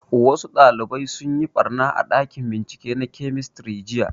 Wasu ɗalibai sun yi ɓarna a ɗakin bincike na kemistri jiya